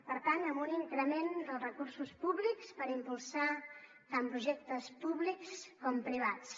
per tant amb un increment dels recursos públics per impulsar tant projectes públics com privats